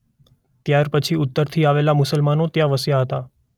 ત્યાર પછી ઉત્તરથી આવેલ મુસલમાનો ત્યાં વસ્યા હતાં.